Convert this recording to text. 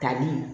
Tali